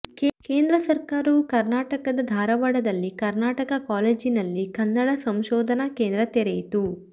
ಕೇಂದ್ರ ಸರ್ಕಾರವು ಕರ್ನಾಟಕದ ಧಾರವಾಡದಲ್ಲಿ ಕರ್ನಾಟಕ ಕಾಲೇಜಿನಲ್ಲಿ ಕನ್ನಡ ಸಂಶೋಧನಾ ಕೇಂದ್ರ ತೆರೆಯಿತು